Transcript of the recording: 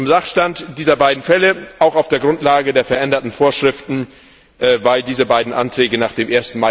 Zum Sachstand dieser beiden Fälle Auch auf der Grundlage der veränderten Vorschriften, weil diese beiden Anträge nach dem